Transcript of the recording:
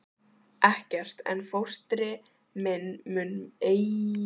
Ekkert, en fóstri minn mun engin skipti samþykkja.